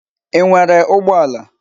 Ị nwere ụgbọ ala?